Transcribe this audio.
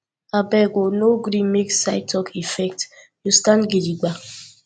abeg o no gree make side talk affect you stand gidigba